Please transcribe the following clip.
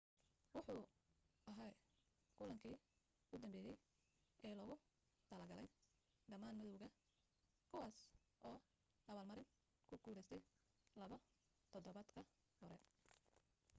wuxu ahaa kulankii u dambeeyay ee loogu talo galay dhammaan madawga kuwaas oo abaal marin ku guulaystay laba todobaad ka hor